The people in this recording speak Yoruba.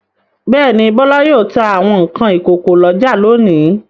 Bẹ́ẹ̀ ni, Bọ́lá yóò ta àwọn nǹkan ìkókó lọ́jà lónìí.